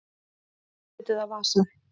Andlit eða vasa?